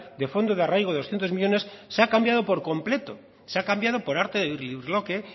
de fondo de arraigo de doscientos millónes se ha cambiado por completo se ha cambiado por arte de birlibirloque